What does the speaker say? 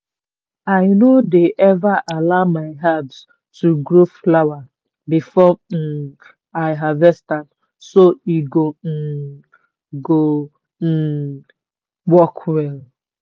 i no dey ever allow my herbs to grow flower before um i harvest am so e um go um work well.